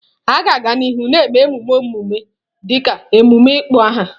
A ga-aga n'ihu na-eme mmemme ọmụmụ dịka emume ịkpọ aha.